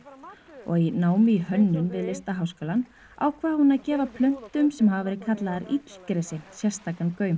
og í námi í hönnun við Listaháskólann ákvað hún að gefa plöntum sem hafa verið kallaðar illgresi sérstakan gaum